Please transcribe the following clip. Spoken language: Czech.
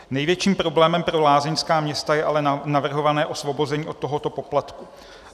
Největším problémem pro lázeňská města je ale navrhované osvobození od tohoto poplatku.